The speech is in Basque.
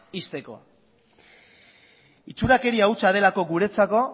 ixteko itxurakeria hutsa delako guretzako